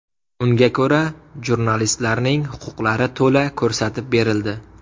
Unga ko‘ra, jurnalistlarning huquqlari to‘la ko‘rsatib berildi.